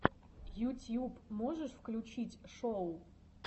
ютьюб можешь включить шоу